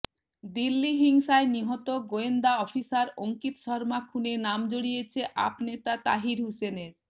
দিল্লি হিংসায় নিহত গোয়েন্দা অফিসার অঙ্কিত শর্মা খুনে নাম জড়িয়েছে আপ নেতা তাহির হুসেনের